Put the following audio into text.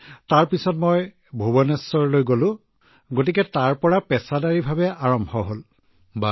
তাৰ পিছত ভুৱনেশ্বৰলৈ গলো আৰু তাৰ পৰাই মই বৃত্তিগতভাৱে আৰম্ভ কৰিছিলো ছাৰ